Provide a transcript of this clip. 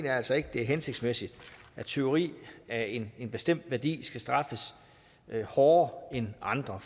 altså ikke det er hensigtsmæssigt at tyveri af en bestemt værdi skal straffes hårdere end andre